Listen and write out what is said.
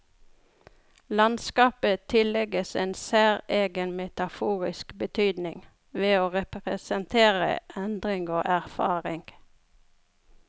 Landskapet tillegges en særegen metaforisk betydning, ved å representere endring og erfaring.